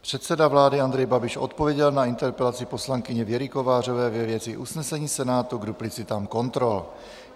Předseda vlády Andrej Babiš odpověděl na interpelaci poslankyně Věry Kovářové ve věci usnesení Senátu k duplicitám kontrol.